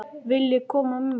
Viljiði koma með mér?